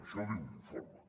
això ho diu l’informe